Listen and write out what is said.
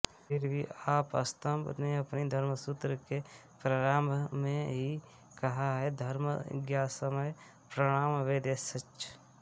फिर भी आपस्तम्ब ने अपने धर्मसूत्र के प्रारम्भ में ही कहा है धर्मज्ञसमयः प्रमाणं वेदाश्च